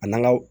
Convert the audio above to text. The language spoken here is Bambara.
A n'an ka